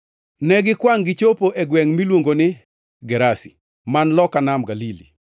Negikwangʼ gichopo e gwengʼ miluongo ni Gerasi, man loka nam Galili.